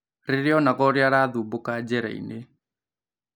Rĩria onaga ũrĩa arathumbũka njĩrainĩ